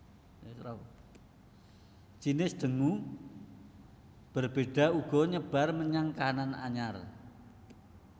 Jinis dengue berbeda uga nyebar menyang kahanan anyar